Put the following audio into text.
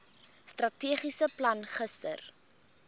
strategiese plan gister